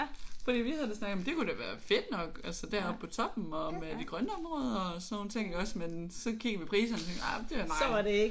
Fordi vi havde da snakket om det kunne da være fedt nok altså deroppe på toppen og med de grønne områder og sådan nogle ting iggås men så kiggede vi priserne og tænkte ah det er meget